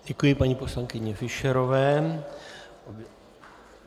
Děkuji paní poslankyni Fischerové.